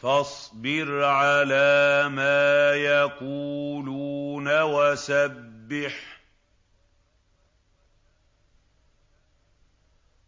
فَاصْبِرْ عَلَىٰ مَا يَقُولُونَ